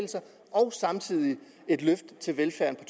og samtidig et løft til velfærden